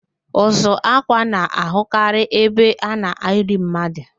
Ụzụ ákwạ́ na-ahịọkarị ebe a na-eli mmadu